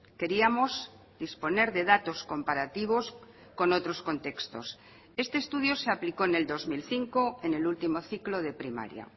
queríamos disponer de datos comparativos con otros contextos este estudio se aplicó en el dos mil cinco en el último ciclo de primaria